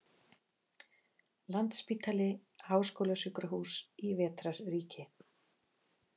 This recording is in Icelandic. Landspítali- háskólasjúkrahús í vetrarríki.